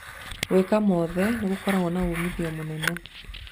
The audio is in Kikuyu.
Gwĩka mothe nĩ gũkorago na umithio mũnene.